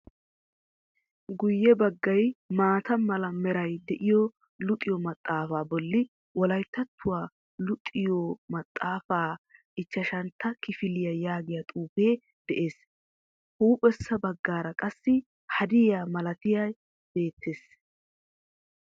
Guyye baggay maata mala meray de'iyo luxiyo maxaafa bolli wolayttattuw luxiyo maxaafaa ichchchashantta kifiliya yaagiya xuufee de'ees. Huuphessa bagaara qassi hadaiya malatay beettees.